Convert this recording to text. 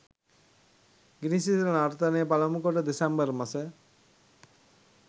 ගිනි සිසිල නර්තනය පළමු කොටස දෙසැම්බර් මස